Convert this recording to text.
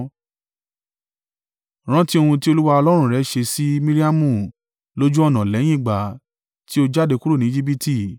Rántí ohun tí Olúwa Ọlọ́run rẹ ṣe sí Miriamu lójú ọ̀nà lẹ́yìn ìgbà tí o jáde kúrò ní Ejibiti.